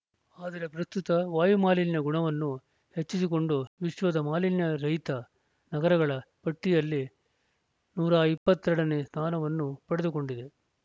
ಆದರೆ ಪ್ರಸ್ತುತ ವಾಯುಮಾಲಿನ್ಯ ಗುಣವನ್ನು ಹೆಚ್ಚಿಸಿಕೊಂಡು ವಿಶ್ವದ ಮಾಲಿನ್ಯ ರಹಿತ ನಗರಗಳ ಪಟ್ಟಿಯಲ್ಲಿ ನೂರ ಇಪ್ಪತ್ತ್ ಎರಡ ನೇ ಸ್ಥಾನವನ್ನು ಪಡೆದುಕೊಂಡಿದೆ